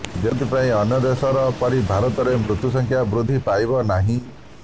ଯେଉଁଥିପାଇଁ ଅନ୍ୟ ଦେଶ ପରି ଭାରତରେ ମୃତ୍ୟୁ ସଂଖ୍ୟା ବୃଦ୍ଧି ପାଇବା ନାହିଁ